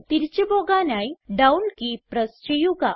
തിരിച്ച് പോകാനായി down key press ചെയ്യുക